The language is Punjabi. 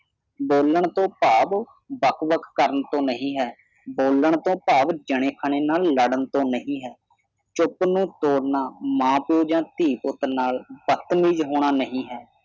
ਬੋਲਣ ਤੋਂ ਭਾਵ ਬਕ ਬਕ ਕਰਨ ਤੋਂ ਨਹੀਂ ਹੈ ਬੋਲਣ ਤੋ ਭਾਵ ਜਣੇ ਖਣੇ ਨਾਲ ਲੜਨ ਤੋਂ ਨਹੀਂ ਹੈ ਚੁੱਪ ਨੂੰ ਤੋੜ ਨਾ ਮਾਂ-ਪਿਓ ਜਾਂ ਧੀ ਪੁੱਤ ਨਾਲ ਬੱਤਮੀਜ਼ ਹੋਣਾ ਨਹੀਂ ਹੈ।